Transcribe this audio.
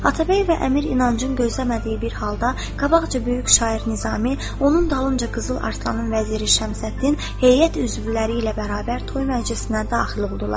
Atabəy və Əmir inancın gözləmədiyi bir halda qabaqca böyük şair Nizami, onun dalınca Qızıl Arslanın vəziri Şəmsəddin, heyət üzvləri ilə bərabər toy məclisinə daxil oldular.